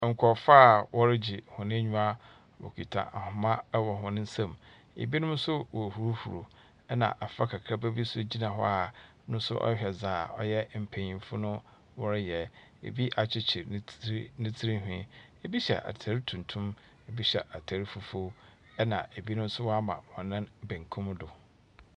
Nkurɔfo a wɔregye hɔn enyiwa. Wɔkita ahoma wɔ hɔn nsam. Ebinom nso worehuruhuru, ɛna abfra kakraba bi nso gyina hɔ a ɔno nso ɔrehwɛ dzɛa mpanyimfo no wɔreyɛ. Ebi akyekyere ne tsiri ne tsiri nhwii. Ebi hyɛ ataar tuntum, ebi hyɛ ataar fufuo, ɛna ebi nso wɔama hɔn nan benkum no do.